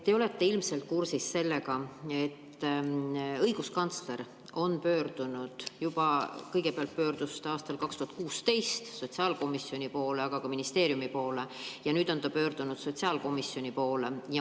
Te olete ilmselt kursis sellega, et õiguskantsler pöördus aastal 2016 sotsiaalkomisjoni poole, aga ka ministeeriumi poole, ja nüüd on ta pöördunud sotsiaalkomisjoni poole.